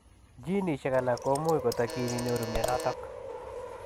Jinisiek alaak komuuch kotakyiin inyoruu mionitok.